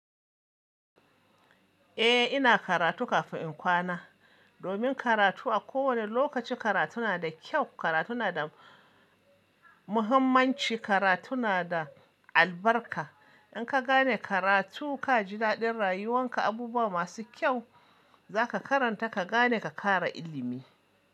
Eh ina karatu kafin in kwana. Domin karatu a kowane lokaci karatu na da kyau, karatu na da muhimmanci, karatu na da albarka. In ka gane karatu ka ji daɗin rayuwan ka abubuwa masu kyau za ka karanta ka gane ka ƙara ilimi.